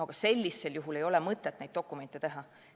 Aga sellisel juhul ei ole mõtet neid dokumente teha.